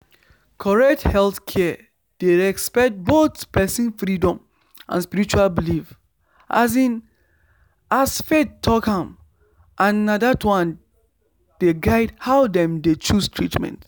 correct healthcare dey respect both person freedom and spiritual belief as faith talk am and na that one dey guide how dem dey choose treatment